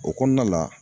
O kɔnɔna la